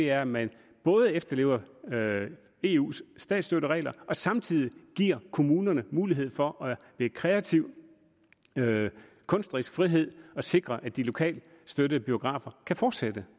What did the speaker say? er at man både efterlever eus statsstøtteregler og samtidig giver kommunerne mulighed for med kreativ kunstnerisk frihed at sikre at de lokalt støttede biografer kan fortsætte det